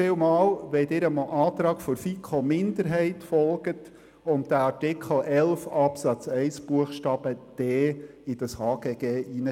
Vielen Dank, wenn Sie dem Antrag der FiKo-Minderheit folgen und Artikel 11 Absatz 1 Buchstabe d ins HGG hineinschreiben.